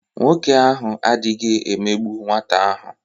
Nwoke ahụ adịghị emegbu nwata ahụ.